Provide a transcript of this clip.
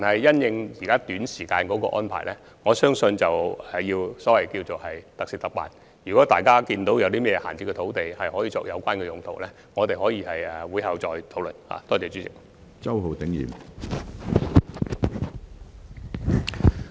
關於短期的安排，我相信要特事特辦，如果大家發現有甚麼閒置土地可以作有關用途，我們可以在會後再作討論。